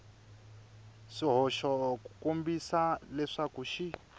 swihoxo ku kombisa leswaku xi